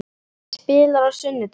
Hver spilar á sunnudaginn?